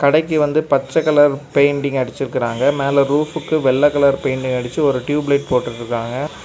கடைக்கு வந்து பச்ச கலர் பெயிண்டிங் அடிச்சிருக்குறாங்க மேல ரூஃப்க்கு வெள்ளை கலர் பெயிண்டிங் அடிச்சு ஒரு டியூப் லைட் போட்டு விட்டுருக்காங்க.